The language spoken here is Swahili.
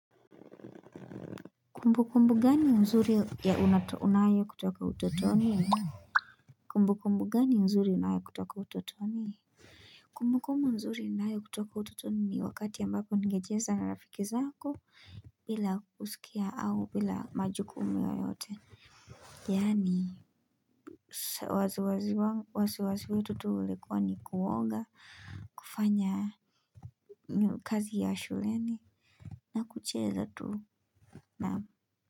Kumbukumbu gani nzuri ya unayo kutoka utotoni. Kumbu kumbu gani nzuri ya unayo kutoka utotoni. Kumbu kumbu nzuri ninayo kutoka utotoni ni wakati ambapo ningecheza na rafiki zako bila kusikia au bila majukumu yoyote. Yaani wasi wasi wasi wetu tu ulikuwa ni kuoga kufanya kazi ya shuleni na kucheza tu na kwa hivyo.